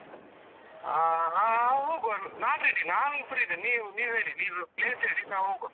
ಹ ಹ ಆ ಹೋಗುವ. ನಾನ್ ready ನಾನ್ free ಇದೇನೆ ನೀವ್ ನೀವ್ ಹೇಳಿ ನೀವ್ place ಹೇಳಿ ನಾವ್ ಹೋಗ್ವಾ.